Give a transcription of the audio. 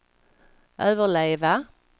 överleva